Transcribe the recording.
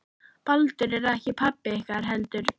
Baldur er ekki pabbi ykkar heldur